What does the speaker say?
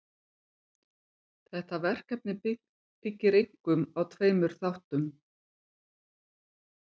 Þetta verkefni byggir einkum á tveimur þáttum.